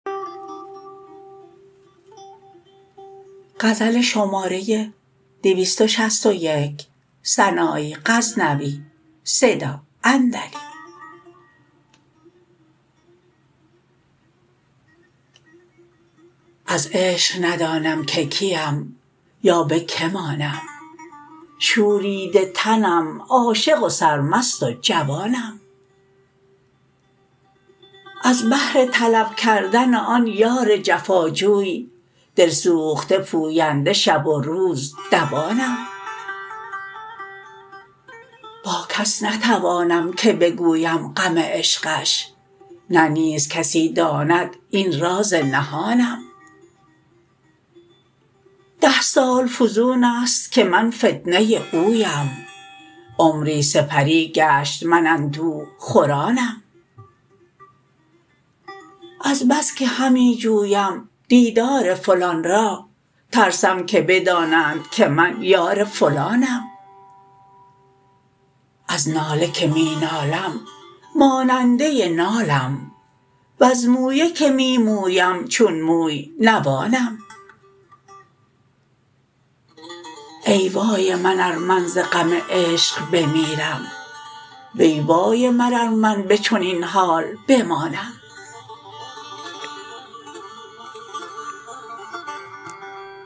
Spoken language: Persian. از عشق ندانم که کیم یا به که مانم شوریده تنم عاشق و سرمست و جوانم از بهر طلب کردن آن یار جفا جوی دل سوخته پوینده شب و روز دوانم با کس نتوانم که بگویم غم عشقش نه نیز کسی داند این راز نهانم ده سال فزونست که من فتنه اویم عمری سپری گشت من اندوه خورانم از بس که همی جویم دیدار فلان را ترسم که بدانند که من یار فلانم از ناله که می نالم ماننده نالم وز مویه که می مویم چون موی نوانم ای وای من ار من ز غم عشق بمیرم وی وای من ار من به چنین حال بمانم